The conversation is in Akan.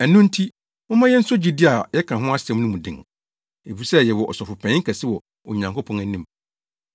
Ɛno nti, momma yenso gyidi a yɛka ho asɛm no mu den. Efisɛ yɛwɔ Ɔsɔfopanyin kɛse wɔ Onyankopɔn anim.